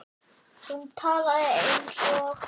Hún talaði eins og